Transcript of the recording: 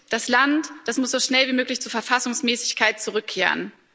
Das Land muss so schnell wie möglich zur Verfassungsmäßigkeit zurückkehren.